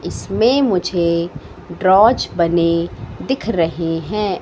इसमें मुझे ड्रॉवर्स बने दिख रहे हैं।